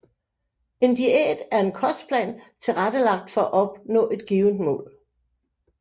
En diæt er en kostplan tilrettelagt for at opnå et givet mål